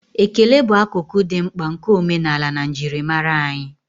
ekele bụ akụkụ dị mkpa nke omenala na njirimara anyị